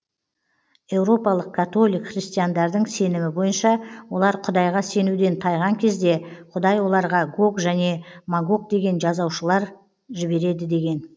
еуропалық католик христиандардың сенімі бойынша олар құдайға сенуден тайған кезде құдай оларға гог және магог деген жазалаушылар жібереді деген